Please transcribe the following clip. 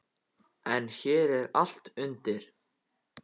En hér er allt undir.